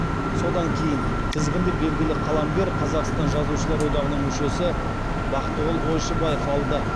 содан кейін тізгінді белгілі қаламгер қазақстан жазушылар одағының мүшесі бақтығұл ойшыбаев алды